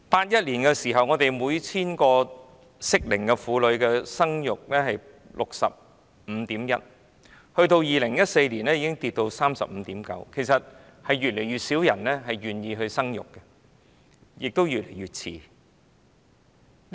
1981年，每 1,000 個適齡婦女的生育率是 65.1%，2014 年，生育率下跌至 35.9%， 顯示越來越少人願意生育，市民亦越來越遲生育。